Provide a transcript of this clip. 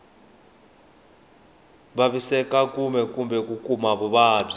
vavisekaku kumbe ku kuma vuvabyi